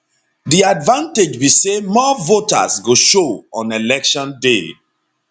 di advantage be say more voters go show on election day